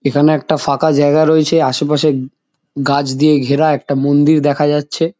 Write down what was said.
এখানে একটা ফাঁকা জায়গা রয়েছে আশেপাশে গাছ দিয়ে ঘেরা একটা মন্দির দেখা যাচ্ছে।